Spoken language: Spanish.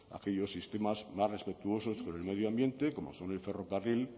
aquellos sistemas más respetuosos con el medio ambiente como son el ferrocarril